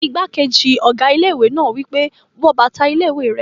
Igbákejì ọ̀gá ilé-ìwé náà wí pé, "wọ bàtà ilé-ìwé rẹ!"